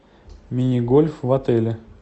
мини гольф в отеле